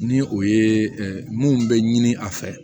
Ni o ye mun bɛ ɲini a fɛ